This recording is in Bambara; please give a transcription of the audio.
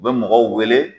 U bɛ mɔgɔw wele